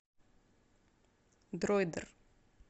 дроидер